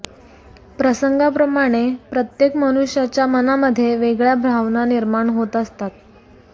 प्रसंगाप्रमाणे प्रत्येक मनुष्याच्या मनामध्ये वेगळ्या भावना निर्माण होत असतात